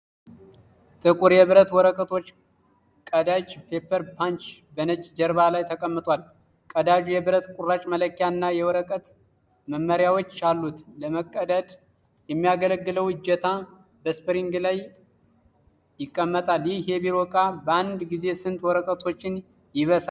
ጥቁር የብረት የወረቀት ቀዳጅ (paper punch) በነጭ ጀርባ ላይ ተቀምጧል። ቀዳጁ የብር ቁራጭ መለኪያ እና የወረቀት መመሪያዎች አሉት። ለመቀዳደድ የሚያገለግለው እጀታ በስፕሪንግ ላይ ይቀመጣል። ይህ የቢሮ ዕቃ በአንድ ጊዜ ስንት ወረቀቶችን ይበሳል?